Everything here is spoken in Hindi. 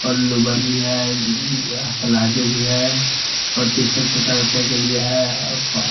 और लोअर भी हैं इ ज पिलाजो भी हैं और टी शर्ट छोटा बच्चा के लिए हैं अ क--